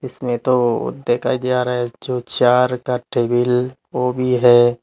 इसमें तो देखा जा रहा है जो चार का टेबिल वो भी है।